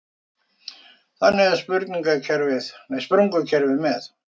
Þannig er um sprungukerfi með